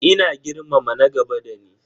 Ina girmama na gaba da ni.